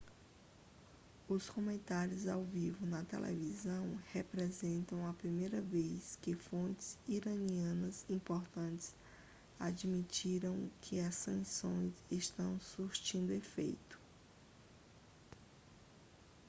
os comentários ao vivo na televisão representaram a primeira vez que fontes iranianas importantes admitiram que as sanções estão surtindo efeito